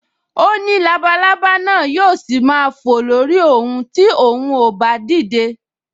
O ní labalábá náà yóò ṣì máa fò lórí òun ti òun ò bá dìde